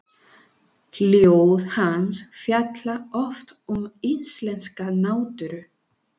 Ljóð hans fjalla oft um íslenska náttúru.